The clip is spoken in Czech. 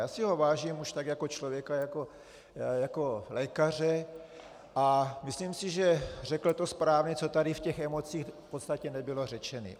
Já si ho vážím už tak jako člověka, jako lékaře a myslím si, že to řekl správně, co tady v těch emocích v podstatě nebylo řečeno.